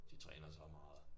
De træner så meget